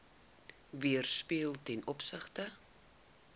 weerspieël ten opsigte